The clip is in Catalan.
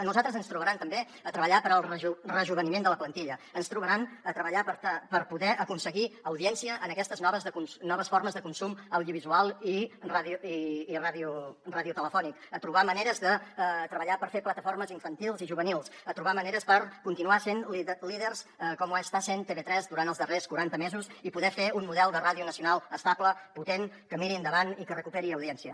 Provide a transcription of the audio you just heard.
a nosaltres ens trobaran també a treballar per al rejoveniment de la plantilla ens trobaran a treballar per poder aconseguir audiència en aquestes noves formes de consum audiovisual i radiotelefònic a trobar maneres de treballar per fer plataformes infantils i juvenils a trobar maneres per continuar sent líders com ho està sent tv3 durant els darrers quaranta mesos i poder fer un model de ràdio nacional estable potent que miri endavant i que recuperi audiència